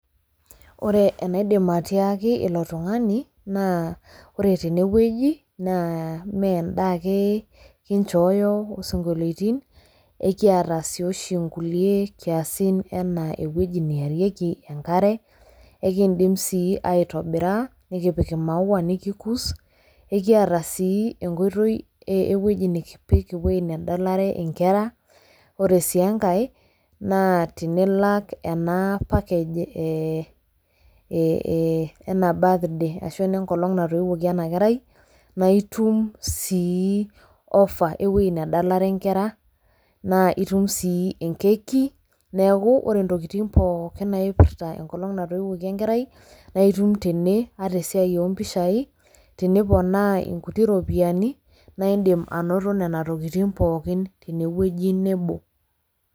Ore enaidim atiaki ilo tung'ani na ore tene wueji neme endaa ake, kinchooyo isinkoiloitin, ekiita sii oshi inkulie kiasin anaa eiwueji naarieki enkare. ekiindim sii aitobira nikipik imaua nikikus. Ekiata sii enkoitoi, ewueji nikipik ewuei nedalare nkere. Ore sii enkae na tenilak ena package enaa birthday ashu ene nkolong' natooiiwuoki ena kerai, naa itum sii offer ewuei nedala nkera, naa itum sii enkeki. Neeku ore ntokitin pookin naipirta enkolong' natooiwuoki enkerai, naa itum tene ata esiai oo mpishai, tenipona inkulie ropiyiani, naa indim anoto nena tokitin pookin tene wueji nebo.